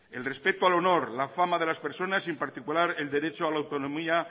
el respeto al honor la fama de las personas y en particular el derecho